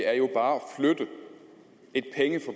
herre